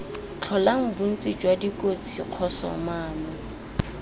tlholang bontsi jwa dikotsi kgosomano